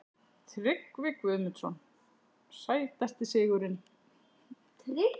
Tryggvi Guðmundsson Sætasti sigurinn?